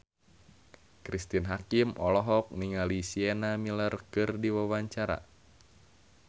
Cristine Hakim olohok ningali Sienna Miller keur diwawancara